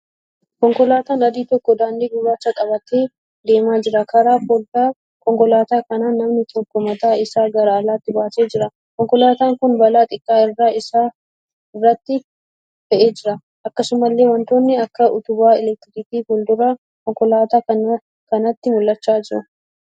Konkolaataan adii tokko daandii gurraacha qabatee deemaa jira. Karaa foddaa konkolaataa kanaan namni tokko mataa isaa gara alaatti baasee jira. Konkolaataan kun ba'aa xiqqaa irra isaa irratti fe'ee jira. Akkasumallee wantoonni akka utubaa 'elektirikii' fuuldura konkolaataa kanaatti mul'achaa jiru.